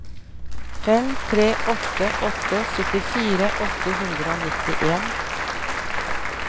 fem tre åtte åtte syttifire åtte hundre og nittien